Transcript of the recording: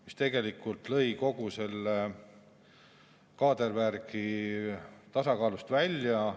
See tegelikult lõi kogu selle kaadervärgi tasakaalust välja.